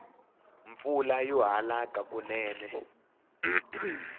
mpfula yo halaka kunene